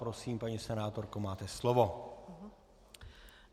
Prosím, paní senátorko, máte slovo.